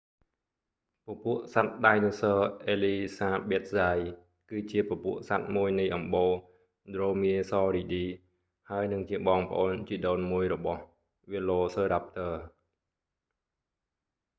hesperonychus elizabethae ពពួកសត្វដាយណូស័រអេលីសាប៊ែតហ្សាយ គឺជាពពួកសត្វមួយនៃអំបូរ dromaeosauridae ដ្រូមៀស័រីឌី ហើយនិងជាបងប្អូនជីដូនមួយរបស់ velociraptor វែឡូសឺរាប់ទ័រ